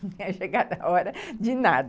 Não tinha chegado à hora de nada.